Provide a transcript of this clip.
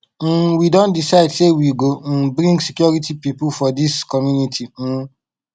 um we don decide sey we go um bring security pipo for dis community um